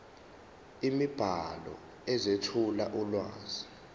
imibhalo ezethula ulwazi